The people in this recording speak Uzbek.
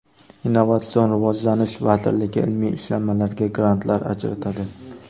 Innovatsion rivojlanish vaziriligi ilmiy ishlanmalarga grantlar ajratadi.